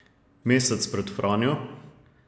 Mesec pred Franjo?